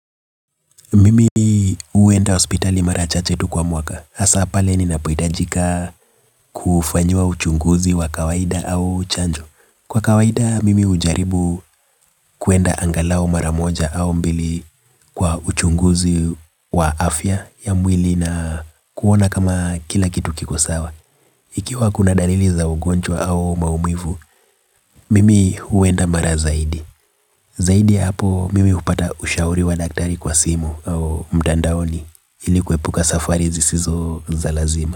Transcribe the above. Mimi huenda hospitali mara chache tu kwa mwaka. Asaa pale ninapohitajika kufanyiwa uchunguzi wa kawaida au chanjo. Kwa kawaida, mimi hujaribu kwenda angalao mara moja au mbili kwa uchunguzi wa afya ya mwili na kuona kama kila kitu kiko sawa. Ikiwa kuna dalili za ugonjwa au maumivu, mimi huenda mara zaidi. Zaidi ya hapo, mimi hupata ushauri wa daktari kwa simu au mtandaoni ili kuepuka safari zisizo za lazima.